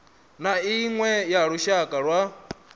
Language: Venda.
na iṅwe ya lushaka lwa